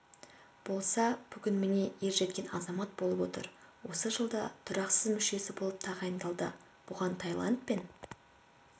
болса бүгін міне ержеткен азамат болып отыр осы жылда тұрақсыз мүшесі болып тағайындалды бұған тайландпен